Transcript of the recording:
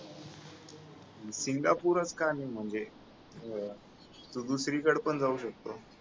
सिंगापूरच का रे म्हणजे अं तू दुसरीकडं पण जाऊ शकतो